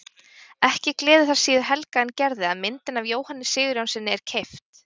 Ekki gleður það síður Helga en Gerði að myndin af Jóhanni Sigurjónssyni er keypt.